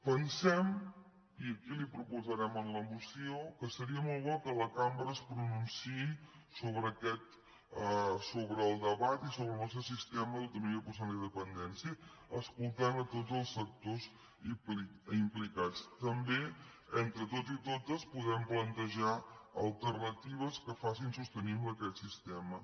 pensem i aquí li ho proposarem en la moció que seria molt bo que la cambra es pronunciï sobre el debat i sobre el nostre sistema d’autonomia personal i dependència escoltant tots els sectors implicats també entre tots i totes podem plantejar alternatives que facin sostenible aquest sistema